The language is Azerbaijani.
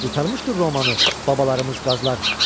Qurtarmışdır Romanı babalarımız qazlar.